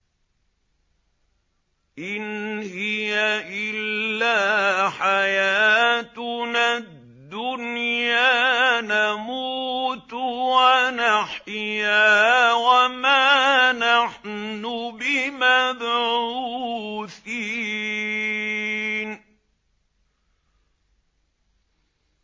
إِنْ هِيَ إِلَّا حَيَاتُنَا الدُّنْيَا نَمُوتُ وَنَحْيَا وَمَا نَحْنُ بِمَبْعُوثِينَ